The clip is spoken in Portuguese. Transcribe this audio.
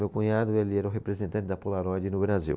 Meu cunhado ele era o representante da Polaroid no Brasil.